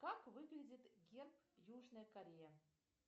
как выглядит герб южная корея